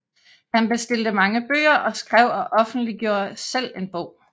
Han bestilte mange bøger og skrev og offentliggjorde selv en bog